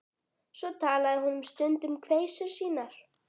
Svo talaði hún um stund um kveisur sínar.